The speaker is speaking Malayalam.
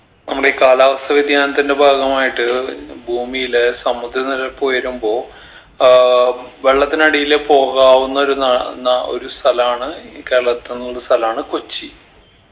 നമ്മുടെ ഈ കാലാവസ്ഥ വ്യതിയാനത്തിൻറെ ഭാഗമായിട്ട് ഭൂമിയിലെ സമുദ്ര നിരപ്പ് ഉയരുമ്പോ ആഹ് വെള്ളത്തിനടിയിലെ പോകാവുന്ന ഒരു നാ നാ ഒരു സ്ഥലാണ് കേരളത്തിലുള്ളൊരു സ്ഥലാണ് കൊച്ചി